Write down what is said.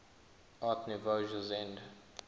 art nouveau jugend